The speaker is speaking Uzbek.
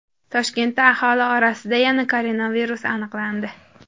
Toshkentda aholi orasida yana koronavirus aniqlandi.